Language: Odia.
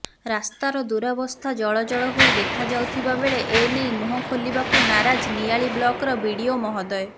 ରାସ୍ତାର ଦୂରାବସ୍ଥା ଜଳଜଳ ହୋଇ ଦେଖାଯାଉଥିବା ବେଳେ ଏନେଇ ମୁହଁ ଖୋଲିବାକୁ ନାରାଜ ନିଆଳି ବ୍ଲକର ବିଡ଼ିଓ ମହୋଦୟ